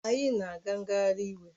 Anyị na-aga ngagharị iwu